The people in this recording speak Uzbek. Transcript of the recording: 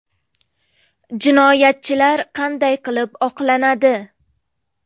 Jinoyatchilar qanday qilib oqlanadi?